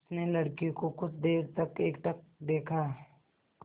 उसने लड़के को कुछ देर तक एकटक देखा